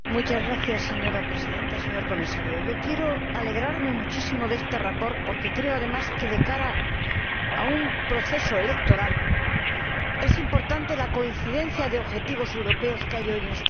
Señora Presidenta, señor Comisario, yo me alegro muchísimo de este informe, porque creo, además, que, de cara a un proceso electoral, es importante la coincidencia de objetivos europeos que hay hoy en esta sala.